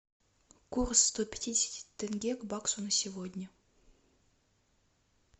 курс сто пятидесяти тенге к баксу на сегодня